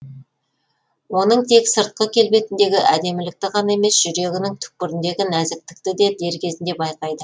оның тек сыртқы келбетіндегі әдемілікті ғана емес жүрегінің түкпіріндегі нәзіктікті де дер кезінде байқайды